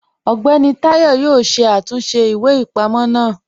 Ọgbẹni Tayọ̀ yọ̀ọ́ ṣé àtúnṣe ìwé-ipamọ̀ náà